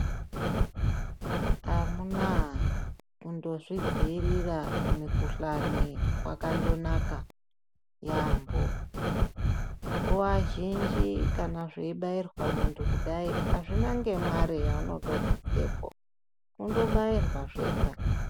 Amunaa kungozvidziirira kumikhuhlani kwakandoo naka yaamho, nguva zhinji kana zveibairwa muntu kudai azvina nemare yauno bvisepo unondobairwa muntu zvega.